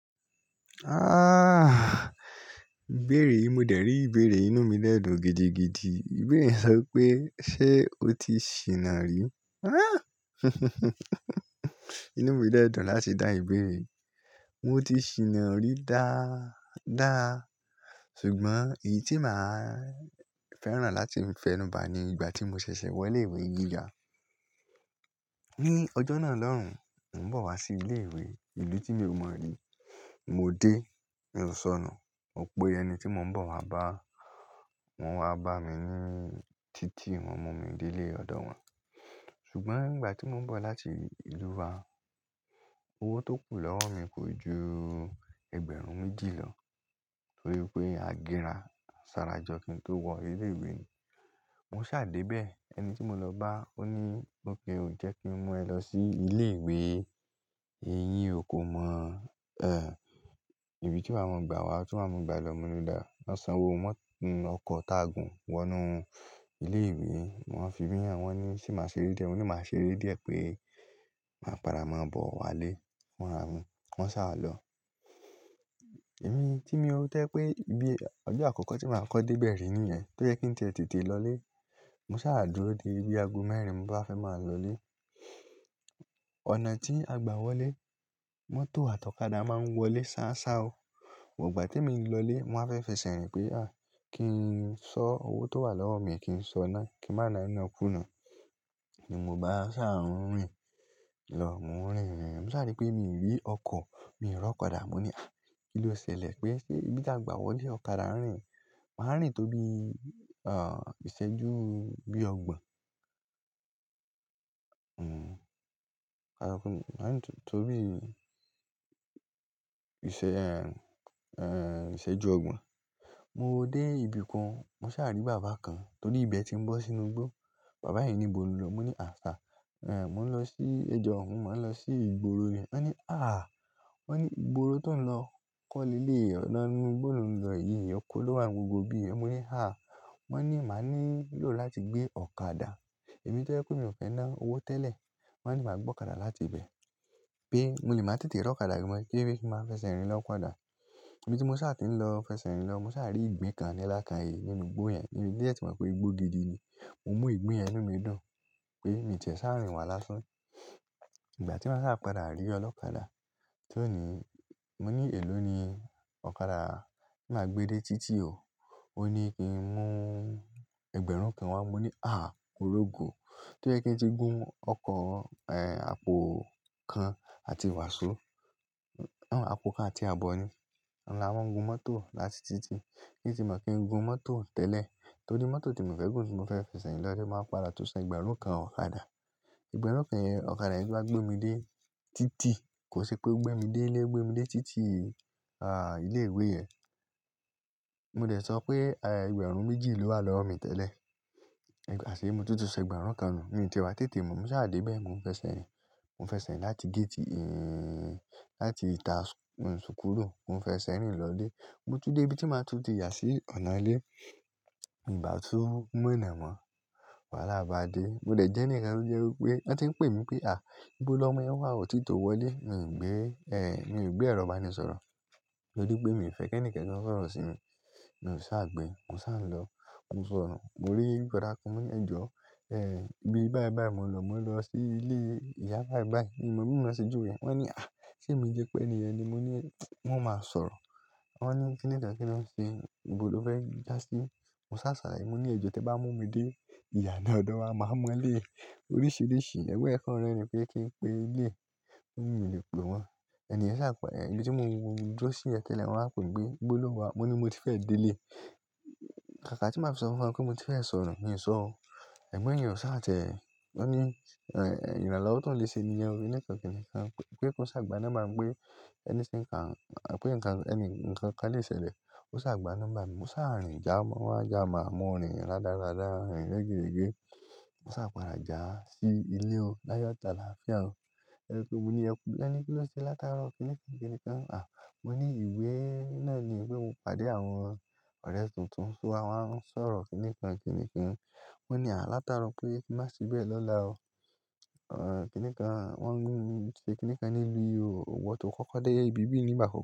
Ah! Bẹ́ẹ̀ rí, mo dẹ̀ rí ìbéèrè inú mi lẹ́dùn gidi gidi. Ìbéèrè sọ pé, "Ṣé o ti ṣìnà rí?" Inú mi lẹ́dùn láti dá ìbéèrè. Mo ti ṣìnà rí dáa, dáa. Ṣùgbọ́n èyí tí màá fẹ́ràn láti fẹnu ba ni ìgbà tí mo ṣẹ̀ṣẹ̀ wọ ilé ìwé gíga. Ni ọjọ́ náà lọ́hùn, mò ń bọ̀ wá sí ilé ìwé, ìlú tí mò ń mọ̀ rí. Mo dé, mi ò sọnù. Mo pé ẹni tí mò ń bọ̀ wá bá, wọ́n wá bá mi ní títì, wọ́n mú mi dé ilé ọ̀dọ̀ wọn. Ṣùgbọ́n nígbà tí mò ń bọ̀ láti ìlú wa, owó tó kù lọ́wọ́ mi kò ju ẹgbẹ̀rún méjì lọ torí pé a gbéra, a sanra jọ kin tó wọ ilé ìwé ni. Mo ṣá dé bẹ̀, ẹni tí mo lọ bá ó ní, "Mo pe o, jẹ́ kí n mú ẹ lọ sí ilé ìwé, èyí o kò mọ̀ ẹ. Ibi tí wàá máa ń gba wa, tí wàá máa ń gba ẹ lọ, mo ní dàá." Wọ́n san owó mọ́ ọkọ̀ tààgùn wọnú ilé ìwé. Wọn fi ìbínú hàn wọn ní ṣe màá ṣe eré díẹ̀? Wọn ní, "Màá ṣe eré díẹ̀ pé màá padà máa bọ̀ wá lé." Wọ́n rà mí, wọ́n sá wa lọ. Ẹ̀mí tí mo rántí pé ibi ọjọ́ àkọ́kọ́ tí màá kọ́ dé bẹ̀ rí nìyẹn. Tó jẹ́ kí n tètè lọ lé. Mo sá dúró dé ibi ago mẹ́rin, mò ń bá fẹ́ máa lọ lé. Ọ̀nà tí a gbà wọlé mọ́tò àtọ́kadà máa ń wọlé sáá sáa o. But ìgbà tí mi ń lọ lé, wọ́n fẹ́ fi ṣẹ̀rìn pé, "à, kí n sọ owó tó wà lọ́wọ́ mi, kí n sọ náà, kí n má na iná kùnà." Ni mò bá ṣà rìn lọ, mò ń rìn. Mo sáà rí pé mi ò rí ọkọ̀, mi ò rí ọ̀kadà. Mo ní, "à, kí ló ṣẹlẹ̀ pé ṣé ibi tí a gbà wọlé ọ̀kadà rìn?" Màá rìn tó bí, à, ìṣẹ́jú bí ọgbọ̀n. Hmm. Aṣọ kan, màá rìn tó bí ìṣe, ẹ, ẹ, ìṣẹ́jú ọgbọ̀n. Mo dé ibi kan, mo sáà rí bàbá kan torí ibẹ̀ tí mò ń bọ́ sínú igbó. Bàbá yẹn ní ìbò ni o ń lọ. Mo ní, "à, à, mo ń lọ sí ẹjọ́, mò ń lọ sí ìgboro ni." Wọ́n ní, "à," wọ́n ní, "ìgboro tó ń lọ kọ́ nílé ọ̀dọ̀ inú ìgboro òún ń lọ yìí, ọkọ̀ ló wà nínú gbogbo ibi yẹn." Mo ní, "à." Wọ́n ní, "màá ní lò láti gbé ọ̀kadà." Èmi tí ó jẹ́ pé mi ò fẹ́ ná owó tẹ́lẹ̀. Wọ́n ní, "màá gbé ọ̀kadà láti ibẹ̀." pé mo ní màá tètè rọ ọ̀kadà kí èmi máa fẹsẹ̀ rìn lọ ọ̀kadà. Èmi tí mo sáà ti ń lọ fẹsẹ̀ rìn lọ, mo sáà rí ìgbín kan ni alákààyí nínú igbó yẹn. Níbi díẹ̀ tí mò ń rò pé igbó gidi ni. Mo mú ìgbín yẹn nínú mi dùn pé mi tẹ̀ sáà rìn wá lásán. Ìgbà tí mò ń sáà padà rí ọlọ́kadà tí ó ní, mo ní, "èló ni ọ̀kadà máa gbé dé títì o?" Ó ní kí n mú ẹgbẹ̀rún kan wá. Mo ní, "à, moró go." Tó jẹ́ kí n ti gún ọkọ̀, ẹ, àpò kan àti wàsó. Àpò kan àti ààbọ̀ ni. Ọ̀la wọ́n ń gun mọ́tò láti títì. Kí n sì má kí n gun mọ́tò tẹ́lẹ̀ torí mọ́tò tí mò ń fẹ́ gùn tí mò ń fẹ́ fẹsẹ̀ rìn lọ ẹ fẹ́ máa padà tú ṣẹ ẹgbẹ̀rún kan ọ̀kadà. Ẹgbẹ̀rún kan yẹn, ọ̀kadà yẹn bá gbé mi dé títì, kò sí pé ó gbé mi dé ilé, ó gbé mi dé títì, à, ilé ìwé yẹn. Mo dẹ̀ sọ pé, ẹ, ẹgbẹ̀rún méjì ló wà lọ́wọ́ mi tẹ́lẹ̀. Àṣìlẹ̀ mo tútù ṣẹ ẹgbẹ̀rún kan nù. Èmi ti wa tètè mú, mo sá dé bẹ̀, mo ń fẹsẹ̀ rìn. Mo ń fẹsẹ̀ rìn láti géétì, ẹ́, láti ìta, ẹ, súkúlu. Mo ń fẹsẹ̀ rìn lọ lé. Mo tún dé ibi tí màá tún di yà sí ọ̀nà ilé. Ìgbà tí mo ń mú ìná mọ́, wàhálà bá dé. Mo dẹ̀ jẹ́ ní ẹ̀rù jẹ́ pé wọ́n ti ń pè mi pé, "à, ibó lọ́mọ yẹn wá òtítọ wọlé." Mi ò gbé, ẹ, mi ò gbé ẹ̀rọ ìbánisọ̀rọ̀ torí pé mi ò fẹ́ kí ẹnìkẹ́ni kan sọ̀rọ̀ sí mi. Mo sá gbé, mo sá lọ, mo sọnù. Mo rí boda kan, mo ní, "ẹjọ́, ẹ, bí báyìí báyìí mò ń lọ, mò ń lọ sí ilé ìyá báyìí báyìí." Mo rí wọn ṣe ju yẹn. Wọ́n ní, "à, ṣé mi jẹ́ pé ènìyàn ni?" Mo ní, "wọn máa sọ̀rọ̀." Wọ́n ní, "kí nìkan kí wọ́n ṣe? Igbó ló fẹ́ jà sí." Mo sá sàlàyé, mo ní, "ẹjọ́, tí ẹ bá mú mi dé ìyà náà lọ́dọ̀ wa, màá mọ lé oríṣiríṣi ẹ̀gbẹ́ ẹ fún ẹni pé kí n pé ilé." Wọ́n nìyẹn sá pa. Ẹ̀, ìgbà tí mo dúró sí yẹn tẹ́lẹ̀, wọ́n wá kọ̀wé pé, "igbó ló wá." Mo ní, "mo ti fẹ́ dé ilé." ká kà tí màá fi sọ fún wọn pé mo ti fẹ́ sọnù, mi ò sọ o. Ẹgbọn yẹn o sá tẹ̀ wọ́n ní, "ẹ, ìnà láwọ̀ tó ń le se niyen o." kíní kan kini ti kan pé kó ṣàgbá nọ́mbà wípé ẹni tí ń kà, à, pé ẹnìkan ẹni ń kà ní ìṣẹ̀lẹ̀. Ó ṣàgbá nọ́mbà mi. Mo sá rìn já, wọ́n á já, mo rìn rádaràdá, rìn regberegbe. Mo sá padà já sí ilé o. Láyọ̀ tàbí ààfíà o. Ẹni tó mú ni yẹn pé, "ẹni kí ló ṣe látara ọ̀ kí nìkan kí nìkan?" À, mo ní ìwé náà ni ìwé mo pàdé àwọn ọ̀rẹ́ tuntun. So wọ́n ń sọ̀rọ̀ kí nìkan kí nìkan. Wọ́n ní, "à, látara pé kí má sì bẹ́ẹ̀ lọ́la o." À, kí nìkan wọ́n ń mú mi ṣe kí nìkan nílu o. Òwọ̀ tó kọ́kọ́ dé ibi bí yìí ni ìgbà àkọkọ.